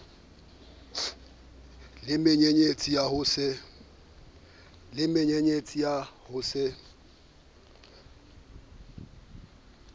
le menyenyetsi ya ho se